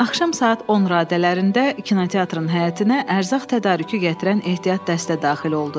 Axşam saat 10 radələrində kinoteatrın həyətinə ərzaq tədarükü gətirən ehtiyat dəstə daxil oldu.